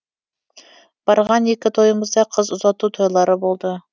барған екі тойымыз да қыз ұзату тойлары болды